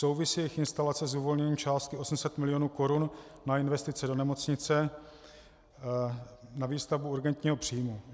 Souvisí jejich instalace s uvolněním částky 800 mil. korun na investice do nemocnice na výstavbu urgentního příjmu?